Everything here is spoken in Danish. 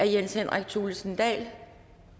jens henrik thulesen dahl